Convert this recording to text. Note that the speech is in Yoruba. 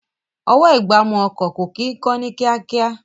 Ọwọ́-ìgbámú ọkọ̀ kò kí ń kán ní kíákíá